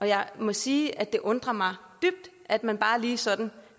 jeg må sige at det undrer mig dybt at man bare lige sådan